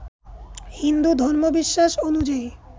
হিন্দু ধর্মবিশ্বাস অনুযায়ী